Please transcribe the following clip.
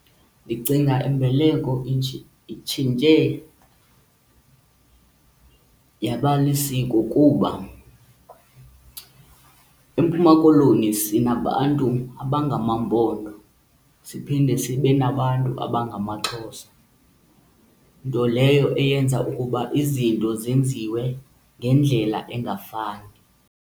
Ndicinga imbeleko itshintshe yaba lisiko kuba eMpuma Koloni sinabantu abangamaMpondo siphinde sibe nabantu abangamaXhosa, nto leyo eyenza ukuba izinto zenziwe ngendlela engafani.